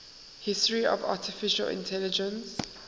history of artificial intelligence